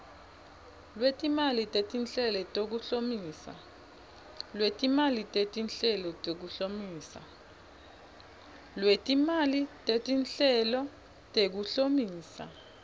lwetimali tetinhlelo tekuhlomisa